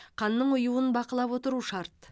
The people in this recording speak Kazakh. қанның ұюын бақылап отыру шарт